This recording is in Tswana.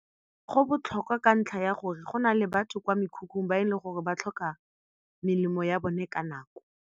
Go botlhokwa ka ntlha ya gore go nale batho kwa mekhukhung ba e leng gore ba tlhoka melemo ya bone ka nako.